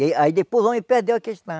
E aí depois o homem perdeu a questão.